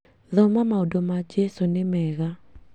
Thoma maũndũ ma jesũ nĩ mega